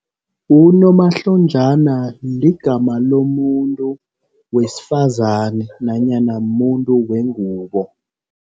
Unomahlonjana ligama lomuntu wesifazani nanyana muntu wengubo.